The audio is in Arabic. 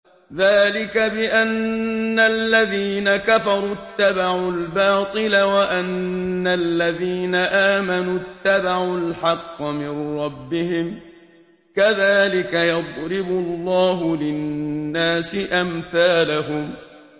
ذَٰلِكَ بِأَنَّ الَّذِينَ كَفَرُوا اتَّبَعُوا الْبَاطِلَ وَأَنَّ الَّذِينَ آمَنُوا اتَّبَعُوا الْحَقَّ مِن رَّبِّهِمْ ۚ كَذَٰلِكَ يَضْرِبُ اللَّهُ لِلنَّاسِ أَمْثَالَهُمْ